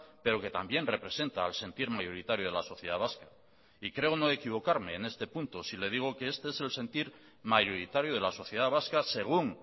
pero que también representa al sentir mayoritario de la sociedad vasca y creo no equivocarme en este punto si le digo que este es el sentir mayoritario de la sociedad vasca según